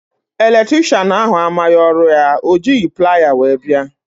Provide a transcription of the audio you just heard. Eletricịanahụ amaghị ọrụ ya, ọ jighị plier wee bịa